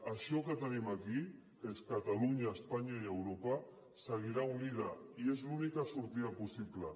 això que tenim aquí que és catalunya espanya i europa seguirà unit i és l’única sortida possible